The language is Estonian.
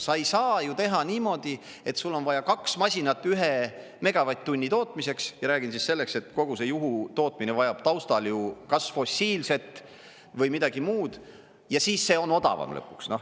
Sa ei saa ju teha niimoodi, et sul on vaja kaks masinat ühe megavatt-tunni tootmiseks, ja räägin siis selleks, et kogu see juhutootmine vajab taustal ju kas fossiilset või midagi muud, ja siis see on odavam lõpuks.